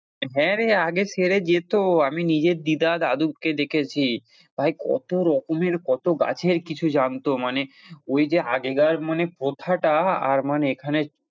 হ্যাঁ, রে আগে সেরে যেত আমি নিজের দিদা দাদুকে দেখেছি ভাই কত রকমের কত গাছের কিছু জানতো মানে ওইযে আগেকার মানে প্রথাটা আর মানে এখানে,